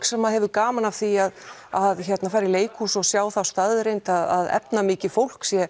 sem hafa gaman að því að fara í leikhús og sjá þá staðreynd að efnamikið fólk sé